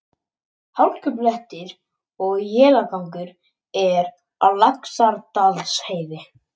Hálkublettir og éljagangur eru á Laxárdalsheiði